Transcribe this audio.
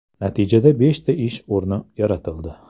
Natijada beshta ish o‘rni yaratildi.